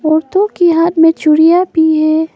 औरतों के हाथ में चूड़ियां भी हैं।